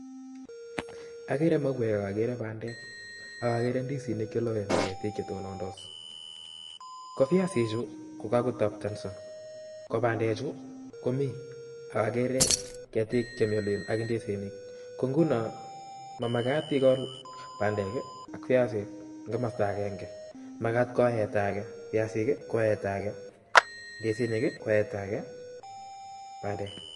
agere mauek agakere bandek ,agagere ndisinik cheloen agagere ketik chetonondos ,go viasik chu kogagotaptanso go bandek chu komi agagere ketik ak ndisinik, nguno mamagat gegol viasik ak bandek eng kimasta agenge .magat koeta age ndisinik ,koeta age bandek koeta age viasik